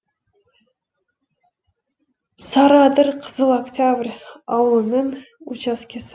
сарыадыр қызыл октябрь ауылының учаскесі